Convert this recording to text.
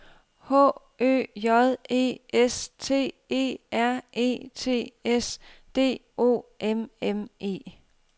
H Ø J E S T E R E T S D O M M E